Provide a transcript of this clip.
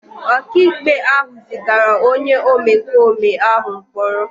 Ọkàikpe ahụ zigara onye omekome ahụ mkpọrọ.